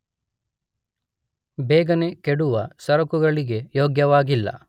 ಬೇಗನೆ ಕೆಡುವ ಸರಕುಗಳಿಗೆ ಯೋಗ್ಯವಾಗಿಲ್ಲ.